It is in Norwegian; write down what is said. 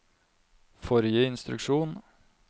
forrige instruksjon